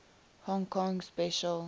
hong kong special